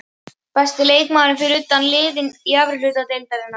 Besti leikmaðurinn fyrir utan liðin í efri hluta deildarinnar?